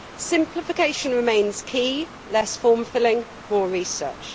Simplification remains key less form filling, more research.